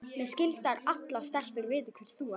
Mér skilst að allar stelpur viti hver þú ert.